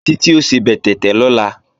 Títí ó sebẹ̀ tẹ̀tẹ̀ lọ́la